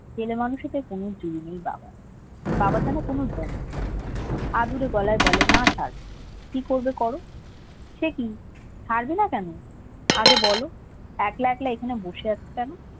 ছেলে মানুষীতে পুনুর নেই বাবার বাবা যেন পুনুর বোন আদুরে গলায় বলে না থাক কি করবে করো সে কি ছাড়বে না কেন আগে বলো একলা একলা এখানে বসে আছো কেন?